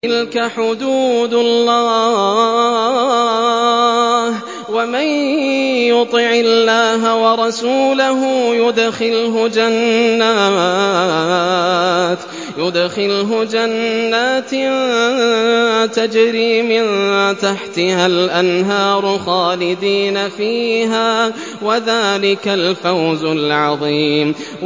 تِلْكَ حُدُودُ اللَّهِ ۚ وَمَن يُطِعِ اللَّهَ وَرَسُولَهُ يُدْخِلْهُ جَنَّاتٍ تَجْرِي مِن تَحْتِهَا الْأَنْهَارُ خَالِدِينَ فِيهَا ۚ وَذَٰلِكَ الْفَوْزُ الْعَظِيمُ